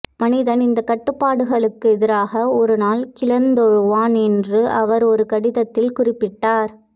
மனிதன் இந்தக் கட்டுப்பாடுகளுக்கெதிராக ஒருநாள் கிளர்ந்தெழுவான் என்று அவர் ஒரு கடிதத்தில் குறிப்பிட்டார்